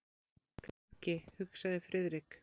Græðgi, hugsaði Friðrik.